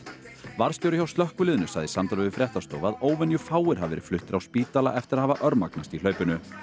varðstjóri hjá slökkviliðinu sagði í samtali við fréttastofu að hafi verið fluttir á spítala eftir að hafa örmagnast í hlaupinu